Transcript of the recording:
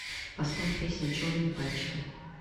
поставь песня черные пальчики